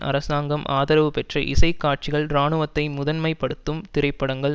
அரசாங்கம் ஆதரவு பெற்ற இசை காட்சிகள் இராணுவத்தை முதன்மை படுத்தும் திரைப்படங்கள்